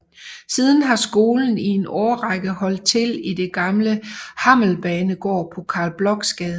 Siden har skolen i en årrække holdt til i den gamle Hammelbanegård på Carl Blochs Gade